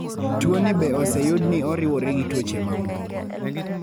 tuoni be oseyud ni oriwore gi tuoche mamoko